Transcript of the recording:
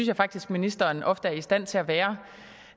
jeg faktisk ministeren ofte er i stand til at være